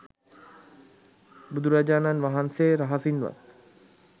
බුදුරජාණන් වහන්සේ රහසින් වත්